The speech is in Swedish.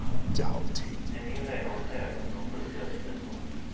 Den inleder en serie om de sju dödssynderna.